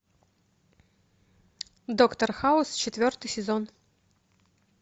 доктор хаус четвертый сезон